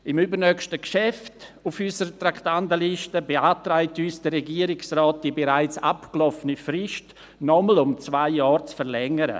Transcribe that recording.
Beim übernächsten Geschäft auf unserer Traktandenliste beantragt uns der Regierungsrat, die bereits abgelaufene Frist noch einmal um zwei Jahre zu verlängern.